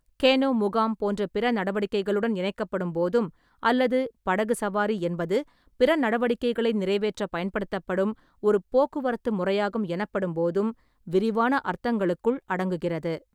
Canoe முகாம் போன்ற பிற நடவடிக்கைகளுடன் இணைக்கப்படும் போதும், அல்லது படகு சவாரி என்பது பிற நடவடிக்கைகளை நிறைவேற்ற பயன்படுத்தப்படும் ஒரு போக்குவரத்து முறையாகும் எனபப்படும்போதும் விரிவான அர்த்தங்களுக்குள் அடங்குகிறது.